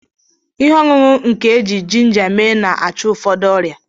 Ihe ọṅụṅụ nke e ji jinja mee na-achụ ụfọdụ ọrịa.